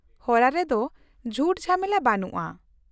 -ᱦᱚᱨᱟ ᱨᱮᱫᱚ ᱡᱷᱩᱴ ᱡᱷᱟᱢᱮᱞᱟ ᱵᱟᱹᱱᱩᱜᱼᱟ ᱾